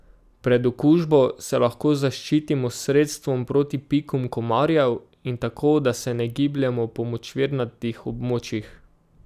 Pred okužbo se lahko zaščitimo s sredstvom proti pikom komarjev in tako, da se ne gibljemo po močvirnatih območjih.